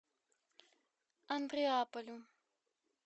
андреаполю